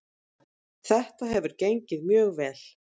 Þetta hefur gengið mjög vel